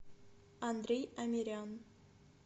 андрей амирян